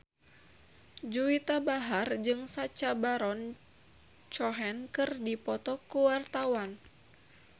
Juwita Bahar jeung Sacha Baron Cohen keur dipoto ku wartawan